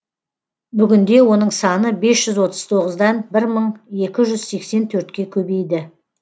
бүгінде оның саны бес жүз отыз тоғыздан бір мың екі жүз сексен төртке көбейді